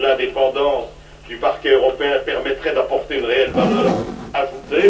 Seule l'indépendance du Parquet européen permettra d'apporter une réelle valeur ajoutée.